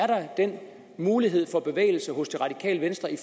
der er den mulighed for bevægelse hos det radikale venstre i